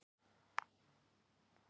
Jarðskorpan er ysta lag jarðarinnar.